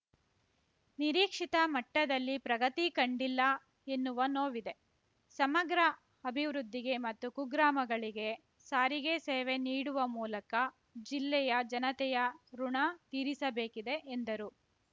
ನಿರೀಕ್ಷಿತ ಮಟ್ಟದಲ್ಲಿ ಪ್ರಗತಿ ಕಂಡಿಲ್ಲ ಎನ್ನುವ ನೋವಿದೆ ಸಮಗ್ರ ಅಭಿವೃದ್ಧಿಗೆ ಮತ್ತು ಕುಗ್ರಾಮಗಳಿಗೆ ಸಾರಿಗೆ ಸೇವೆ ನೀಡುವ ಮೂಲಕ ಜಿಲ್ಲೆಯ ಜನತೆಯ ಋುಣ ತೀರಿಸಬೇಕಿದೆ ಎಂದರು